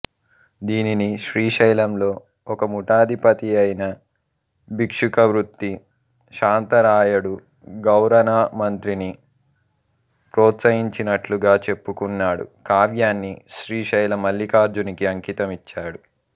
దీనిని శ్రీశైలంలో ఒక మఠాధిపతిపదియైన భిక్షుకవృత్తి శాంతరాయడు గౌరనమంత్రిని ప్రోత్సాహించినట్లుగా చెప్పుకున్నాడు కావ్యాన్ని శ్రీశైల మల్లికార్జునికి అంకితమిచ్చాడు